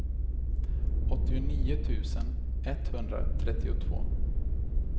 åttionio tusen etthundratrettiotvå